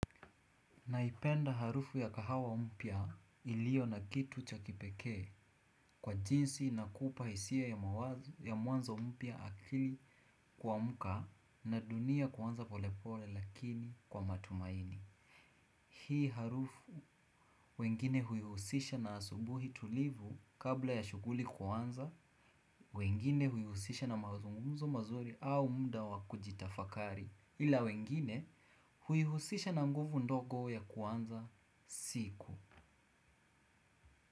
Naipenda harufu ya kahawa mpya iliyo na kitu cha kipekee kwa jinsi inakupa hisia ya mwanzo mpya akili kuamka na dunia kuanza polepole lakini kwa matumaini. Hii harufu wengine huihusisha na asubuhi tulivu kabla ya shughuli kuanza, wengine huihusisha na mazungumzo mazuri au muda wakujitafakari ila wengine huihusisha na nguvu ndogo ya kuanza siku.